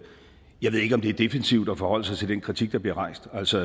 jeg ved ikke om det er defensivt at forholde sig til den kritik der bliver rejst altså